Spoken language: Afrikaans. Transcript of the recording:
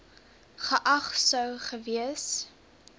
geag sou gewees